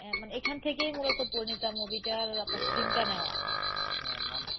হ্যাঁ মানে এখান থেকেই মুলত পরিণীতা movie টার আপনার theme টা নেওয়া,